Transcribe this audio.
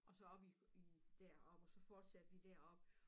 Og så op i i derop og så fortsatte vi deroppe